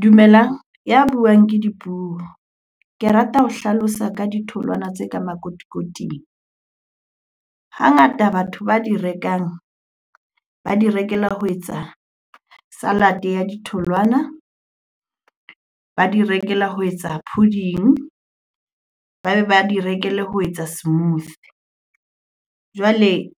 Dumelang, ya buang ke Dipuo. Ke rata ho hlalosa ka ditholwana tse ka makotikoting. Hangata batho ba di rekang, ba di rekela ho etsa salad-eya ditholwana, ba di rekela ho etsa pudding, ba be ba di rekele ho etsa smoothy. Jwale